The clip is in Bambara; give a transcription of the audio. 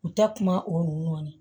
U ta kuma o kɔni